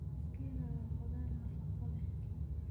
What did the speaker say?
Schinna waa khudaar nafaqo leh.